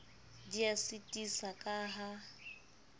di a sitisa ka ha